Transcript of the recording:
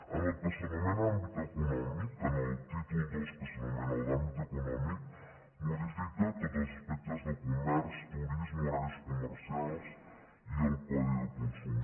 en el que s’anomena àmbit econòmic en el títol ii que s’anomena el d’àmbit econòmic modifica tots els aspectes de comerç turisme horaris comercials i el codi de consum